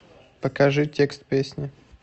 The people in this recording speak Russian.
покажи текст песни